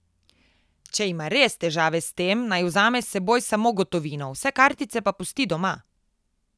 Če ima res težave s tem, naj vzame s seboj samo gotovino, vse kartice pa pusti doma.